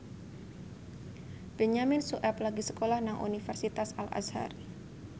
Benyamin Sueb lagi sekolah nang Universitas Al Azhar